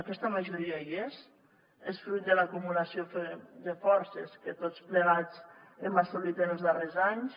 aquesta majoria hi és és fruit de l’acumulació de forces que tots plegats hem assolit en els darrers anys